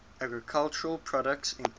agricultural products include